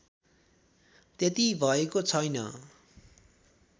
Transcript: त्यति भएको छैन